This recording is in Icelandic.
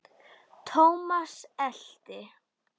Thomas elti.